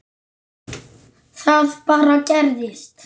Það bara gerist.